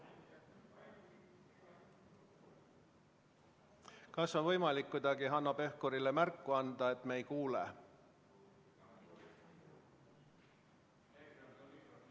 Kas on võimalik kuidagi Hanno Pevkurile märku anda, et me ei kuule teda?